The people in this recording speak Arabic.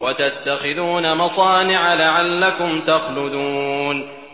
وَتَتَّخِذُونَ مَصَانِعَ لَعَلَّكُمْ تَخْلُدُونَ